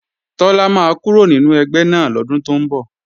Tọ́lá máa kúrò nínú ẹgbẹ́ náà lọ́dún tó ń bọ̀